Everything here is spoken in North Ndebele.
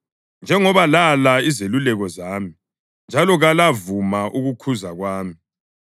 njengoba lala izeluleko zami njalo kalavuma ukukhuza kwami,